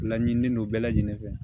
Laɲininen don bɛɛ lajɛlen fɛ